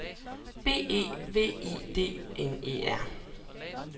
B E V I D N E R